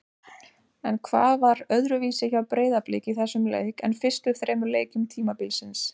En hvað var öðruvísi hjá Breiðablik í þessum leik en fyrstu þremur leikjum tímabilsins?